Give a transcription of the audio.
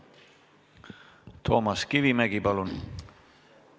Toomas Kivimägi, palun!